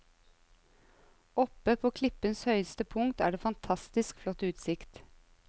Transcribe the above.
Oppe på klippens høyeste punkt er det fantastisk flott utsikt.